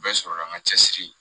Bɛɛ sɔrɔ la an ka cɛsiri